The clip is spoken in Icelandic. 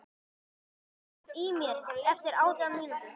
Þoka, heyrðu í mér eftir átján mínútur.